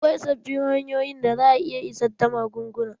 Akwai sabbin hanyoyin da za a iya isar da magunguna.